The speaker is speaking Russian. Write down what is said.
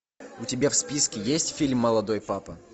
у тебя в списке есть фильм молодой папа